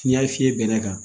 N'i y'a fiyɛ bɛnɛ kan